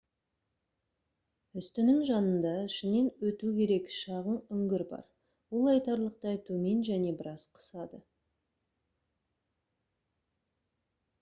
үстінің жанында ішінен өту керек шағын үңгір бар ол айтарлықтай төмен және біраз қысады